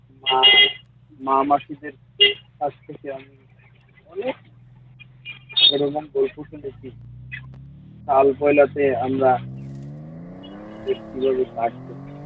মা মা-মাসিদের কাছ থেকে আমি অনেক পরিমাণ বই কাল পয়লাতে তিনি আমাদের কীভাবে সাহায্য